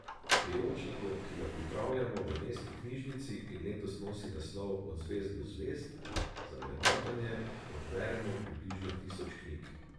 V priročniku, ki ga pripravljamo v mestni knjižnici in letos nosi naslov Od zvezd do zvezd, za vrednotenje odberemo približno tisoč knjig.